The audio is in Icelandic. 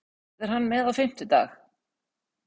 Verður hann með á fimmtudag?